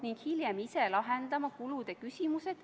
Kumb siis õige on, 10 või 20?